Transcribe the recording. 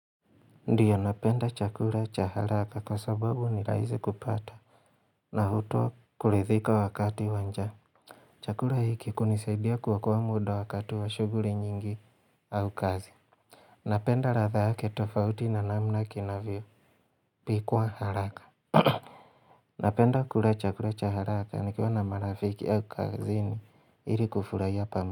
Ndiyo napenda chakura cha haraka kwa sababu ni raisi kupata na hutoa kurithika wakati wa njaa Chakura hiki kunisidia kuokua muda wakati wa shuguri nyingi au kazi Napenda ratha yake tofauti na namna kinavyo pikwa haraka Napenda kula chakura cha haraka nikiwa na marafiki au kazini Hili kufurahia pa.